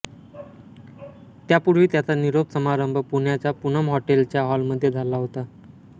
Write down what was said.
त्यापूर्वी त्याचा निरोप समारंभ पुण्याच्या पूनम हॉटेलच्या हॉलमध्ये झाला होता